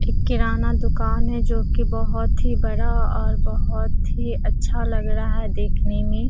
एक किराना दुकान है जो की बहुत ही बड़ा और बहुत ही अच्छा लग रहा है देखने में।